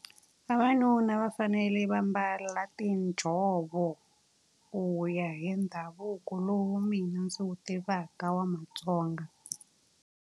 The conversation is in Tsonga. Vavanuna va fanele va mbala tinjhovo ku ya hi ndhavuko lowu mina ndzi wu tivaka wa maTsonga.